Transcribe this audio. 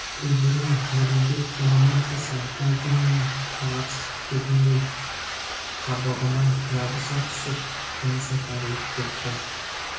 үлбірей дірілдеп бұнымен қоса әлденені тағатсыз күтетін-дей қабығына жабыса түсіп тынысы тарылып кетті